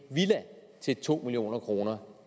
til to million kroner